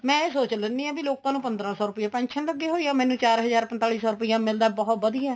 ਮੈਂ ਇਹ ਸੋਚ ਲੈਂਦੀ ਆ ਵੀ ਲੋਕਾ ਨੂੰ ਪੰਦਰਾਂ ਸੋ ਰੁਪਇਆ pension ਲੱਗੀ ਹੋਈ ਏ ਮੈਨੂੰ ਚਾਰ ਹਜਾਰ ਪੰਤਾਲੀ ਸੋ ਰੁਪਇਆ ਮਿਲਦਾ ਬਹੁਤ ਵਧੀਆ